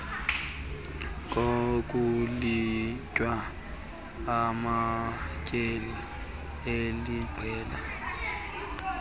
kokulinywa amatyeli aliqela